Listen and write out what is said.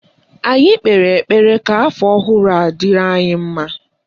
Anyị kpere ekpere ka afọ ọhụrụ a dịrị anyị mma